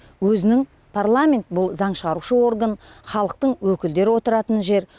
өзінің парламент бұл заң шығарушы орган халықтың өкілдері отыратын жер